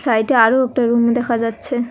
সাইডে আরো একটা রুম দেখা যাচ্ছে।